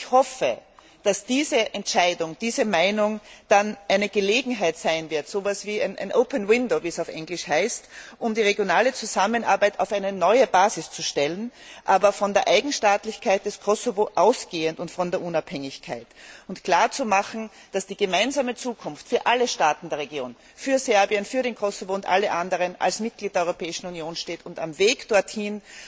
Ich hoffe, dass diese Entscheidung, diese Meinung dann eine Gelegenheit sein wird so etwas wie ein open window wie es auf Englisch heißt um die regionale Zusammenarbeit auf eine neue Basis zu stellen aber von der Eigenstaatlichkeit und Unabhängigkeit Kosovos ausgehend und klarzumachen, dass die gemeinsame Zukunft für alle Staaten der Region für Serbien, für Kosovo und alle anderen als Mitglied der Europäischen Union steht und am Weg dorthin